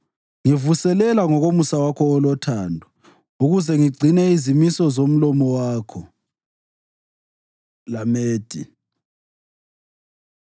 Ngivuselela ngomusa wakho olothando, ukuze ngigcine izimiso zomlomo wakho. ל Lamedh